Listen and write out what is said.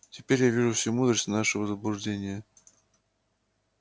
теперь я вижу всю мудрость нашего заблуждения